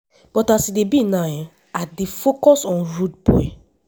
but as e be now i dey focus on on rudeboy.”